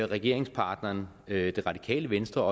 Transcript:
regeringspartneren det radikale venstre